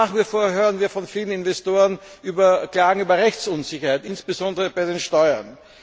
Nach wie vor hören wir von vielen Investoren Klagen über Rechtsunsicherheit, insbesondere bei den Steuern.